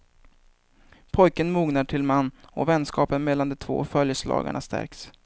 Pojken mognar till man och vänskapen mellan de två följeslagarna stärks.